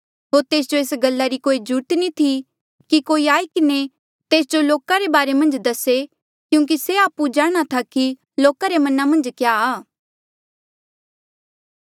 होर तेस जो एस गल्ला री कोई ज्रूरत नी थी कि कोई आई किन्हें तेस जो लोका रे बारे मन्झ दसे क्यूंकि से आपु जाणहां था कि लोका रे मना मन्झ क्या आ